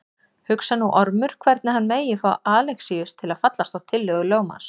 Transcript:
Hugsar nú Ormur hvernig hann megi fá Alexíus til að fallast á tillögur lögmanns.